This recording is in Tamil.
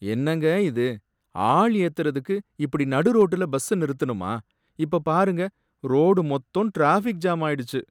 என்னங்க இது! ஆள் ஏத்தறதுக்கு இப்படி நடு ரோட்டுல பஸ்ஸ நிறுத்தணுமா? இப்ப பாருங்க ரோடு மொத்தமும் ட்ராஃபிக் ஜாம் ஆயிடுச்சு.